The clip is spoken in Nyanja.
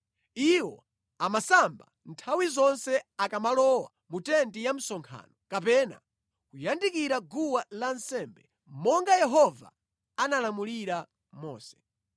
Iwo amasamba nthawi zonse akamalowa mu tenti ya msonkhano kapena kuyandikira guwa lansembe monga Yehova analamulira Mose.